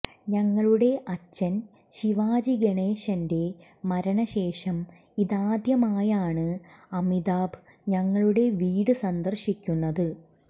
ഞങ്ങളുടെ അച്ഛൻ ശിവാജി ഗണേശന്റെ മരണശേഷം ഇതാദ്യമായാണ് അമിതാഭ് ഞങ്ങളുടെ വീട് സന്ദർശിക്കുന്നത്